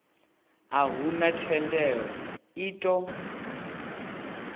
a huna thendelo i ṱo